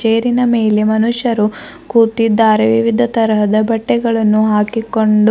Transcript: ಚೇರಿನ ಮೇಲೆ ಮನುಷ್ಯರು ಕೂತಿದ್ದಾರೆ ವಿವಿಧ ತರಹದ ಬಟ್ಟೆಗಳನ್ನು ಹಾಕಿಕೊಂಡು--